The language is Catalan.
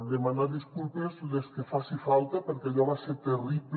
demanar disculpes les que faci falta perquè allò va ser terrible